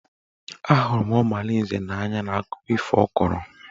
A hụrụ m Ọmalinze n'anya n'akụkọ ifo ọ kọrọ.